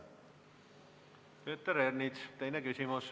Peeter Ernits, teine küsimus.